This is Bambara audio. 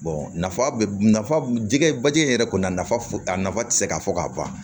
nafa bɛ nafa jɛgɛ bajigi yɛrɛ kɔnɔ nafa a nafa tɛ se ka fɔ ka ban